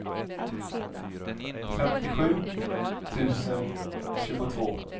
femtiosju tusen tjugotvå